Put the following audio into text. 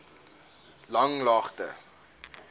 langlaagte